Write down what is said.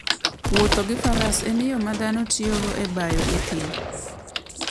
Wuotho gi faras en yo ma dhano tiyogo e bayo e thim.